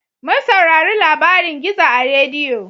Mun saurari labarin gizo a rediyo